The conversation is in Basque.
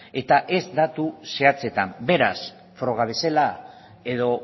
eta ez datu zehatzetan beraz froga bezala edo